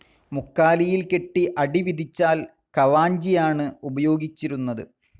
മുക്കാലിയിൽ കെട്ടി അടി വിധിച്ചാൽ കവാഞ്ചിയാണ് ഉപയോഗിച്ചിരുന്നത്.